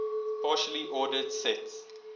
partially ordered sets